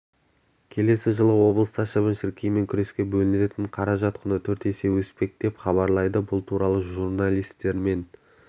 келесі жылы облыста шыбын-шіркеймен күреске бөлінетін қаражат құны төрт есе өспек деп хабарлады бұл туралы журналистермен